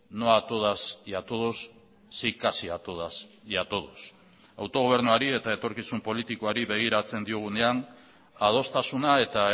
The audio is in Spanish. no a todas y a todos sí casi a todas y a todos autogobernuari eta etorkizun politikoari begiratzen diogunean adostasuna eta